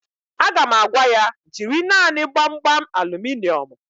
Aga m agwa ya, jiri naanị Gbamgbam aluminịọmụ